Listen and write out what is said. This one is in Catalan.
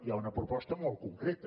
hi ha una proposta molt concreta